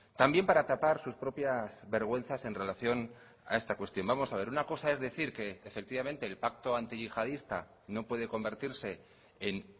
también para tapar sus propias vergüenzas en relación a esta cuestión vamos a ver una cosa es decir que efectivamente el pacto antiyihadista no puede convertirse en